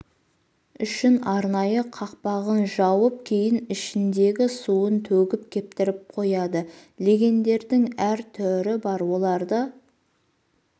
үшін арнайы қақпағын жауып кейін ішіндегі суын төгіп кептіріп қояды легендердің әр түрі бар оларды